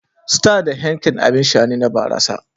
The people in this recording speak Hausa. Star da Heineken abin sha ne na barasa.